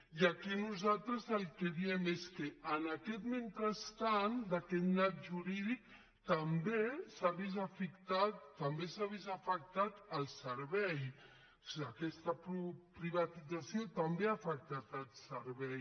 i aquí nosaltres el que diem és que en aquest mentrestant d’aquest nyap jurídic també s’ha vist afectat el servei aquesta privatització també ha afectat el servei